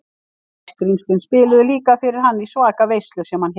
Sæskrímslin spiluðu líka fyrir hann í svaka veislu sem hann hélt.